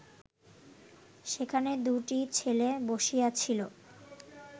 সেখানে দুটি ছেলে বসিয়াছিল